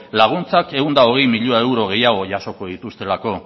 laguntzak ehun eta hogei miloi euro gehiago jasoko dituztelako